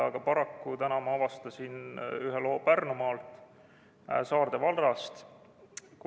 Aga paraku ma avastasin täna ühe loo Pärnumaalt Saarde vallast.